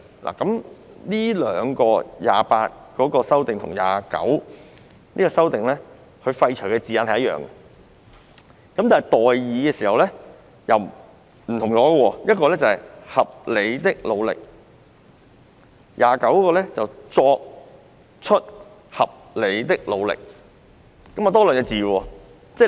第28及29條的修訂廢除的語句一樣，但代以的語句則不一樣，前者是"合理的努力"，後者則是"作出合理的努力"，多出兩個字。